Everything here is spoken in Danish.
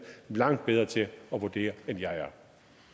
langt bedre til at vurdere end jeg er